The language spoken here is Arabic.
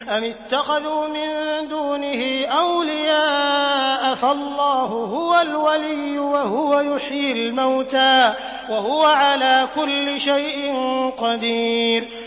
أَمِ اتَّخَذُوا مِن دُونِهِ أَوْلِيَاءَ ۖ فَاللَّهُ هُوَ الْوَلِيُّ وَهُوَ يُحْيِي الْمَوْتَىٰ وَهُوَ عَلَىٰ كُلِّ شَيْءٍ قَدِيرٌ